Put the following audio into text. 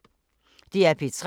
DR P3